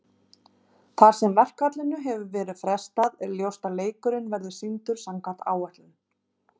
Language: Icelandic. Þar sem verkfallinu hefur verið frestað er ljóst að leikurinn verður sýndur samkvæmt áætlun.